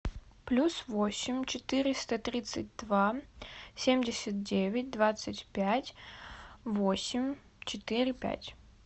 плюс восемь четыреста тридцать два семьдесят девять двадцать пять восемь четыре пять